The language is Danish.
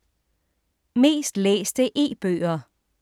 Mest læste e-bøger